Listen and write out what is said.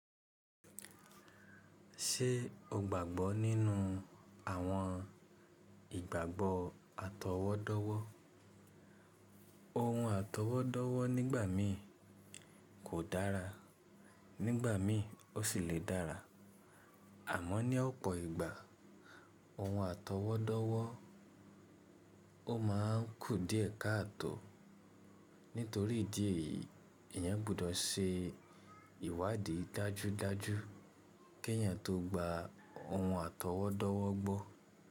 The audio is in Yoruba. Ṣé o gbàgbọ́ nínú àwọn ìgbàgbọ́ àtọwọ́dọ́wọ́? Ohun àtọwọ́dọ́wọ́ nígbà mí kò dára, nígbà mi ó sì le dára. Àmọ́ ní ọ̀pọ̀ ìgbà ohun àtọwọ́dọ́wọ́ ó ma ń kù díẹ̀ káàtò. Nítorí ìdí èyí, èyàn gbọ́dọ̀ ṣe ìwádìí dájúdájú kí èyàn tó gba ohun àtọwọ́dọ́wọ́ gbọ́.